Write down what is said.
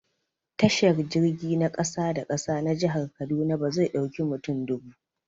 Tashar jirgi na ƙasa-da-ƙasa na jihar kaduna bazai dauƙi mutum dubu